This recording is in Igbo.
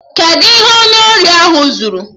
Kedụ ihe onye ori ahụ zuru?